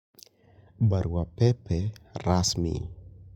Barua pepe rasmi.